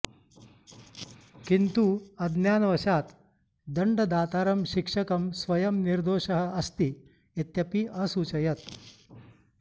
किन्तु अज्ञानवशात् दण्डदातारं शिक्षकं स्वयं निर्दोषः अस्ति इत्यपि असूचयत्